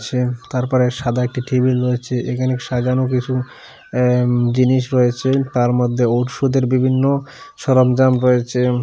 Chair তারপরে সাদা একটি টেবিল রয়েছে এখানে সাজানো কিছু এ উ জিনিস রয়েছে তারমধ্যে ওষুধের বিভিন্ন সরঞ্জাম রয়েছে।